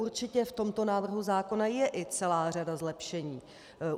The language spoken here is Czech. Určitě v tomto návrhu zákona je i celá řada zlepšení.